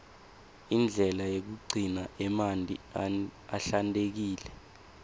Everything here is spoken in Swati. indlela yekugcina emanti ahlantekile